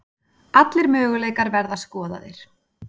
Allir möguleikar verða skoðaðir